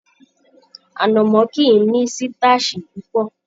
Anamọ kìí ní sitasi púpọ.